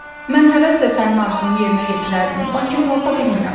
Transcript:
Mən həvəslə sənin arzunu yerinə yetirərdim, lakin qalxa bilmirəm.